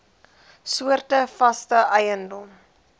soorte vaste eiendom